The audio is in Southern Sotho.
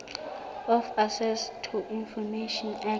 of access to information act